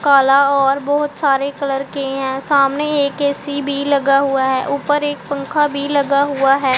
काला और बहोत सारे कलर के हैं सामने एक ऐ_सी भी लगा हुआ है ऊपर एक पंखा भी लगा हुआ है।